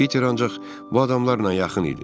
Peter ancaq bu adamlarla yaxın idi.